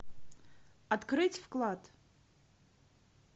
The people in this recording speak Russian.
открыть вклад